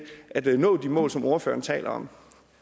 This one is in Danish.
at nå de mål som ordføreren taler om